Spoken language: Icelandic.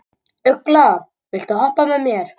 Ugla, viltu hoppa með mér?